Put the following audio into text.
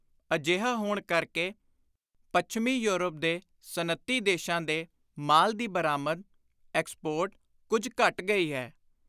ਅਜਿਹਾ ਹੋਣ ਕਰਕੇ ਪੱਛਮੀ ਯੌਰਪ ਦੇ ਸਨਅਤੀ ਦੇਸ਼ਾਂ ਦੇ ਮਾਲ ਦੀ ਬਰਾਮਦ (Export) ਕੁਝ ਘਟ ਗਈ ਹੈ।